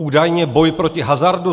Údajně boj proti hazardu.